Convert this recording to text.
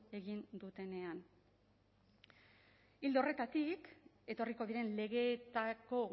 egin dutenean ildo horretatik etorriko diren legeetako